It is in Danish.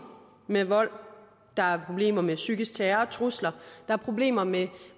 med vold der er problemer med psykisk terror og trusler der er problemer med